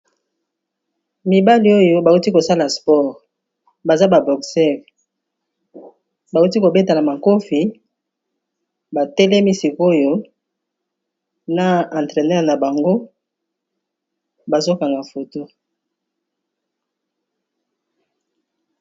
Mibali oyo ba uti kosala spore baza ba boxer bawuti kobetana makofi batelemi sikoyo na entreneur na bango bazokanga foto.